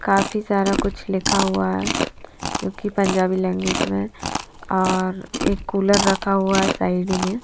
काफी सारा कुछ लिखा हुआ है जोकि पंजाबी लाइन में और एक कूलर रखा हुआ है साइड में--